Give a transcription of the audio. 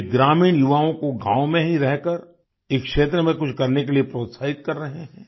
वे ग्रामीण युवाओं को गाँव में ही रहकर इस क्षेत्र में कुछ करने के लिए प्रोत्साहित कर रहे हैं